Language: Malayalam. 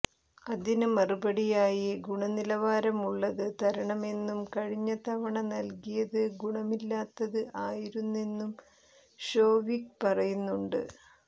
അതിന് മറുപടിയായി ഗുണനിലവാരമുള്ളത് തരണമെന്നും കഴിഞ്ഞ തവണ നല്കിയത് ഗുണമില്ലാത്തത് ആയിരുന്നെന്നും ഷോവിക് പറയുന്നുണ്ട്